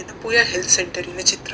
Yenepoya health ಸೆಂಟರಿನ ಚಿತ್ರ .